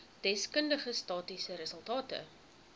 deskundige statistiese resultate